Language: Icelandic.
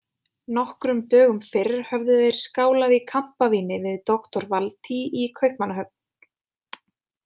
Nokkrum dögum fyrr höfðu þeir skálað í kampavíni við doktor Valtý í Kaupmannahöfn.